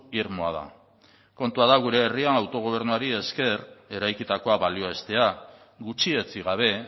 irmoa da kontua da gure herrian autogobernuari esker eraikitakoa balioestea gutxietsi gabe